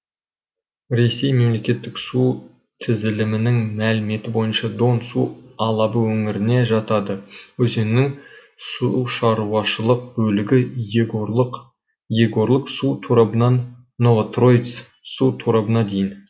ресей мемлекеттік су тізілімінің мәліметі бойынша дон су алабы өңіріне жатады өзеннің сушаруашылық бөлігі егорлык егорлык су торабынан новотроиц су торабына дейін